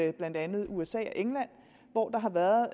i blandt andet usa og england hvor der har været